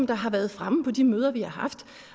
der har været fremme på de møder vi har haft